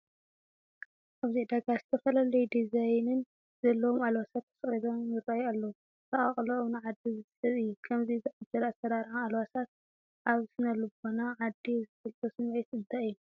ኣብዚ ዕዳጋ ዝተፈላለየ ዲዛይን ዘለዎም ኣልባሳት ተሰቒሎም ይርአዩ ኣለዉ፡፡ ኣሰቓቕሎኦም ንዓዳጊ ዝስሕብ እዩ፡፡ ከምዚ ዝኣምሰለ ኣሰራርዓ ኣልባሳት ኣብ ስነ ልቦና ዓዳጊ ዝፈልጦ ስምዒት እንታይ እዩ?